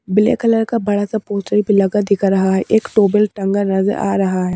Black colour का बड़ा सा पोस्टर भी लगा दिखा रहा है एक टोबल टंगा नजर आ रहा है।